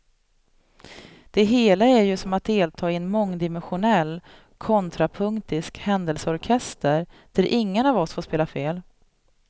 Det hela är ju som att delta i en mångdimensionell, kontrapunktisk händelseorkester där ingen av oss får spela fel.